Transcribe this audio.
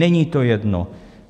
Není to jedno.